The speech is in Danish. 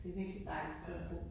Det virkelig et dejligt sted at bo